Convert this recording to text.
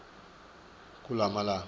kulamalangana